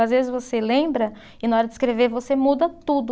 Às vezes você lembra e na hora de escrever você muda tudo.